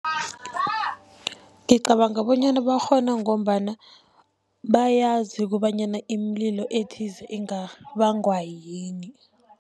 Ngicabanga bonyana bakghona ngombana bayazi kobanyana imililo ethize ingabangwa yini.